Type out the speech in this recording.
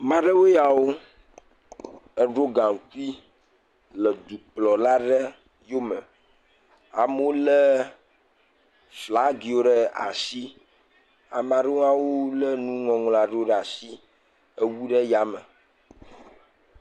Maɖewoe ya eɖo gaŋkui le dukplɔla aɖe yome. Amewo lé flagiwo ɖe asi, ame aɖewo lé nuŋɔŋlɔ aɖewo ɖe yame.